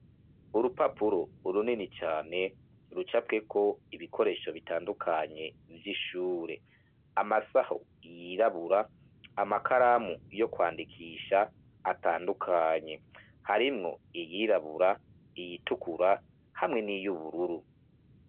Urupapuro runini cane rucafyeko ibikoresho bitandukanye vy'ishure, amasaho yirabura, amakaramu yo kwandikisha atandukanye, harimwo iyirabura, iyitukura, hamwe n'iyubururu.